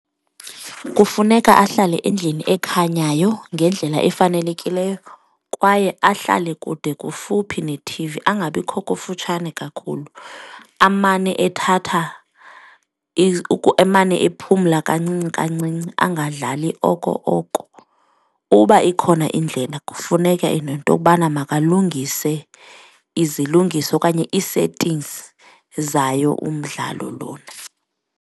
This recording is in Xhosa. Kufuneka ahlale endlini ekhanyayo ngendlela efanelekileyo kwaye ahlale kude kufuphi nethivi angabikho kufutshane kakhulu, amane ethatha emane ephumle kancinci kancinci angadlali oko oko. Uba ikhona indlela kufuneke nento yokubana makalungise izilungiso okanye ii-settings zayo umdlalo lona.